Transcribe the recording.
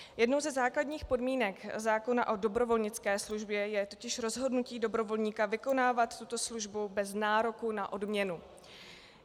Jednou ze základních podmínek zákona o dobrovolnické službě je totiž rozhodnutí dobrovolníka vykonávat tuto službu bez nároku na odměnu.